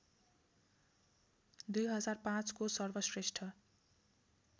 २००५ को सर्वश्रेष्ठ